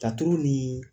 Datugu ni